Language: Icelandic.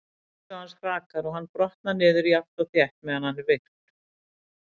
Heilsu hans hrakar og hann brotnar niður jafnt og þétt meðan hann er virkur.